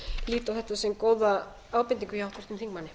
lít á þetta sem góða ábendingu hjá háttvirtum þingmanni